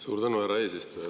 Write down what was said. Suur tänu, härra eesistuja!